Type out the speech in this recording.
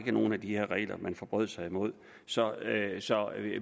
var nogle af de her regler man forbrød sig imod så